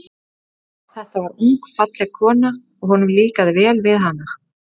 Þetta var ung og falleg kona, og honum líkaði vel við hana.